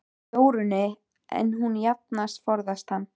Jórunni, en hún jafnan forðast hann.